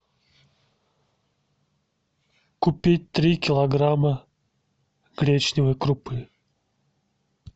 купить три килограмма гречневой крупы